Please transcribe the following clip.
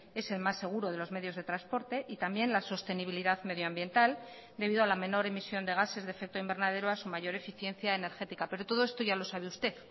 es el más seguro de los medios de transporte y también la sostenibilidad medio ambiental debido a la menor emisión de gases de efecto invernadero a su mayor eficiencia energética pero todo esto ya lo sabe usted